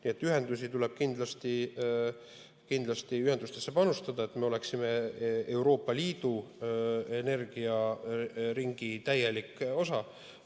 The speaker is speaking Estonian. Nii et ühendustesse tuleb kindlasti panustada, et me oleksime Euroopa Liidu energiaringi täielik osa.